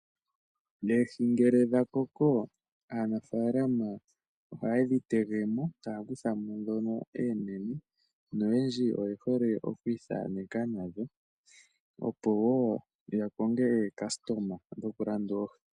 Oohi ngele dha koko aanafalama ohaye dhi tege mo, taya kutha mo oonene, noyendji oye hole oku ithaneka nadho opo wo ya koke aalandi dhokulanda oohi.